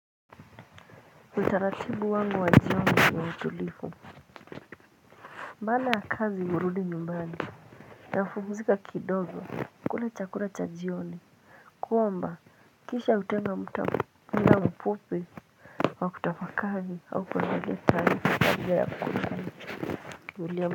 Utaratibu wangu wa jioni ni utulivu baada ya kazi hurudi nyumbani napumzika kidogo kula chakula cha jioni kuomba kisha hutenga muda mfupi wa kutafakari au kutapakali wa kutapakali.